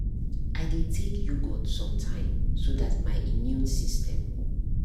i dey take yogurt sometime so that my immune system